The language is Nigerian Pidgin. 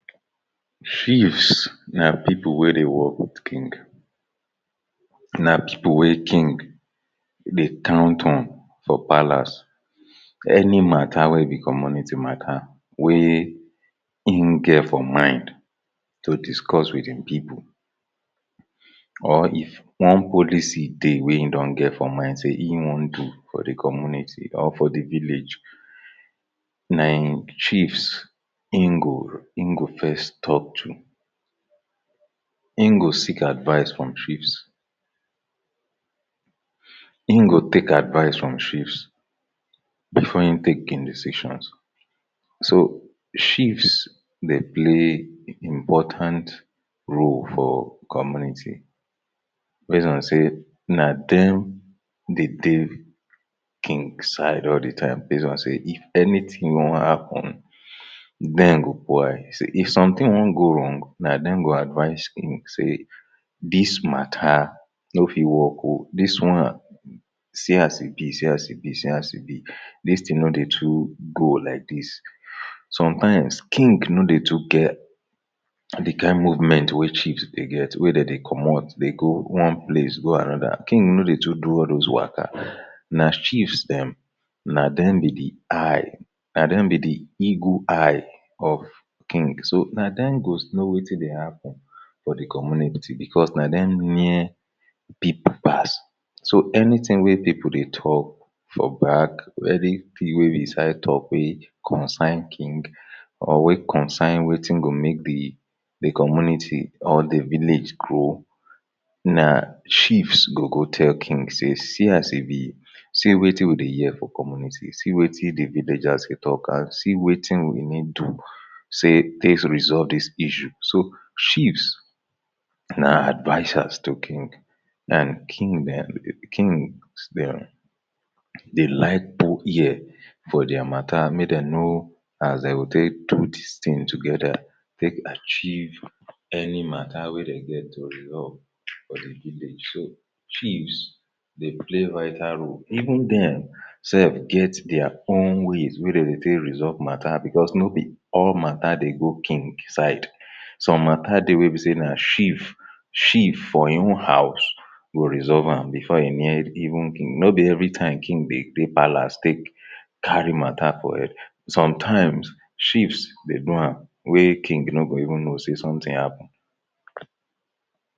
chiefs na pipo wey dey work with king na pipo wey king dey count on for palace. Any matta wey be community matta wey im get for mind to discuss wit im pipo or if one policy dey wey im don get for mind say im wan do for di community or for di village na im chiefs im go im go first tok to im go seek advice from chiefs im go take advice from chiefs bifor im take im decisions. So, chiefs dey play important role for community base on say na dem dey dey king side all di time base on say if anytin wan happun men go boil, so if sometin wan go wrong na dem go advice king say dis matta no fit work o, dis one see as e bi, see as e bi, see as e bi, dis tin no dey too go like dis. sometimes king no dey too get di kain movment wey chiefs dey get wey dey dey comot dey go one place go anoda king no dey too do all those waka na chiefs dem na dem be di eye na dem be di eagle eye of kings so na dem go know wetin dey happun for di community bicos na dem near pipo pass so anytin wey pipo dey tok for back anything wey be side tok wey concern king or wey concern wetin go make di community or di village grow na chiefs go go tell king say see as e bi see wetin we dey hear for community see wetin di villagers dey tok and see wetin we need do say take resolve dis issue so, chiefs, na advisers to king and king dem kings dem dey like put ear for dia matta make dem know as dem go take do dis tins together take achieve any matta wey dem get to resolve for di village so chiefs dey play vital role, even dem sef get dia own ways wey dem dey take resolve matta bicos nobi all matta dey go king side some matta dey wey be say na chief chief for im own house go resolve am bifor e near even king nobi evri time king dey dey palace take carry matta for head. sometimes chiefs dey do am wey king no go even know say sometin happun